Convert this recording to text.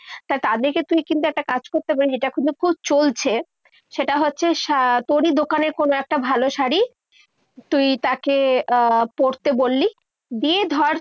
তা তাদেরকে তুই কিন্তু একটা কাজ করতে খুব চলছে। সেটা হচ্ছে তোরই দোকানে কোনো একটা ভালো শাড়ি তুই তাকে আহ পড়তে বল্লি, দিয়ে ধর